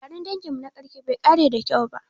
Taron danginmu na ƙarshe bai ƙare da kyau ba.